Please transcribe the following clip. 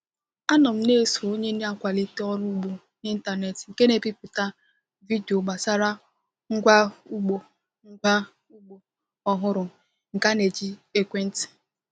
Anọ m na-eso onye na-akwalite ọrụ ugbo n’ịntanetị nke na-ebipụta vidio gbasara ngwa ugbo ngwa ugbo ọhụrụ nke a na-eji ekwentị.